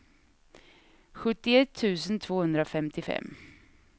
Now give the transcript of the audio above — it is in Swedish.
sjuttioett tusen tvåhundrafemtiofem